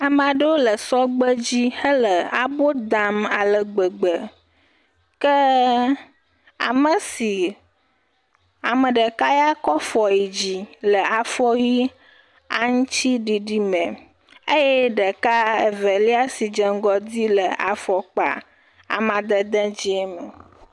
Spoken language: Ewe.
Ame aɖewo le sɔgbe dzi hele abo dam ale gbegbe ke amesi. Ame ɖeka ya kɔ fɔ yi dzi le aŋuti didi me eye ɖeka eve lia si dze ŋgɔ di le afɔkpa dede ŋuti me.